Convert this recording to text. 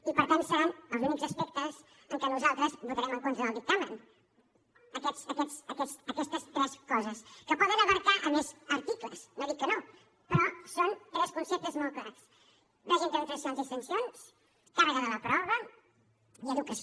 i per tant seran els únics aspectes en què nosaltres votarem en contra del dictamen aquestes tres coses que poden abastar més articles no dic que no però són tres conceptes molt clars règim de tramitacions i sancions càrrega de la prova i educació